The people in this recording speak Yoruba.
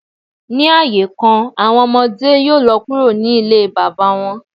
Ni aaye kan, awọn ọmọde yoo lọ kuro ni ile baba wọn.